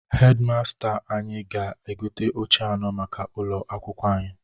Hedi masta anyị ga-egote oche anọ maka ụlọ akwụkwo anyị.